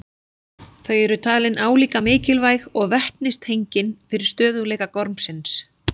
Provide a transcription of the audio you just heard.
Þau eru talin álíka mikilvæg og vetnistengin fyrir stöðugleika gormsins.